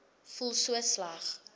voel so sleg